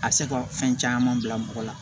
A bɛ se ka fɛn caman bila mɔgɔ la